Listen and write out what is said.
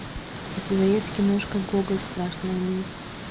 у тебя есть киношка гоголь страшная месть